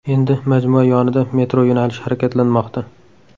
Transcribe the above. Endi majmua yonida metro yo‘nalishi harakatlanmoqda.